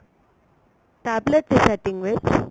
tablet ਦੇ setting ਵਿੱਚ